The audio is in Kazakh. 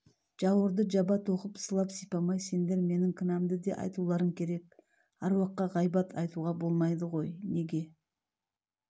жауырды жаба тоқып сылап-сипамай сендер менің кінәмді де айтуларың керек аруаққа ғайбат айтуға болмайды ғой неге